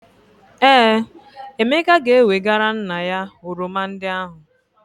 Ee, Emeka ga-ewegara nna ya oroma ndị ahụ.